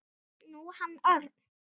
Nú, hann Örn.